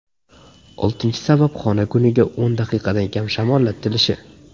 Oltinchi sabab xona kuniga o‘n daqiqadan kam shamollatilishi.